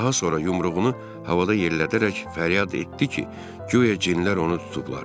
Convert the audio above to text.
Daha sonra yumruğunu havada yellədərək fəryad etdi ki, guya cinlər onu tutublar.